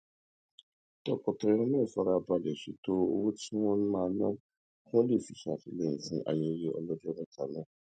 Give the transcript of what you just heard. tọkọtaya náà fara balè ṣètò owó tí wón máa ná kí wón lè fi ṣètìlẹyìn fún ayẹyẹ ọlójó méta náà